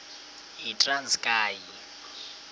yitranskayi